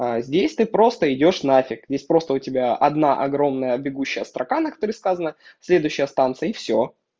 а здесь ты просто идёшь нафиг неспроста у тебя одна огромная бегущая строка на которых сказано следующая станция и всё